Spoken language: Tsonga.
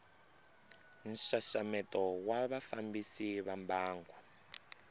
nxaxameto wa vafambisi va mbangu